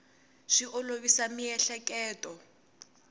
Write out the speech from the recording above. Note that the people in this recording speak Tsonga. swi olovisa miehleketo